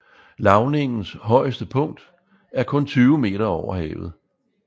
Lavningens højeste punkt er kun 20 moh